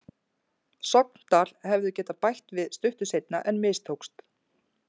Sogndal hefðu getað bætt við stuttu seinna en mistókst.